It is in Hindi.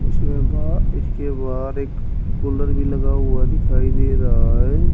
इसके बाद इसके बाद एक कूलर भी लगा हुआ दिखाई दे रहा है।